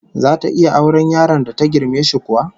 Zata iya auren yaron da ta girme shi kuwa?